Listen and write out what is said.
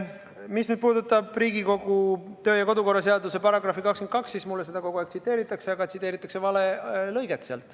Mis puudutab Riigikogu töö- ja kodukorra seaduse § 22, siis seda mulle kogu aeg tsiteeritakse, aga tsiteeritakse vale lõiget.